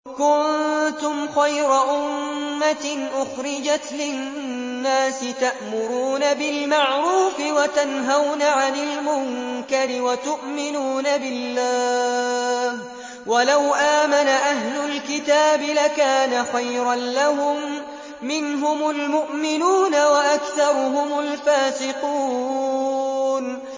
كُنتُمْ خَيْرَ أُمَّةٍ أُخْرِجَتْ لِلنَّاسِ تَأْمُرُونَ بِالْمَعْرُوفِ وَتَنْهَوْنَ عَنِ الْمُنكَرِ وَتُؤْمِنُونَ بِاللَّهِ ۗ وَلَوْ آمَنَ أَهْلُ الْكِتَابِ لَكَانَ خَيْرًا لَّهُم ۚ مِّنْهُمُ الْمُؤْمِنُونَ وَأَكْثَرُهُمُ الْفَاسِقُونَ